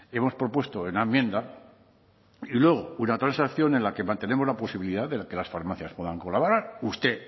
hemos propuesto en la enmienda y luego una transacción en la que mantenemos la posibilidad de que las farmacias puedan colaborar usted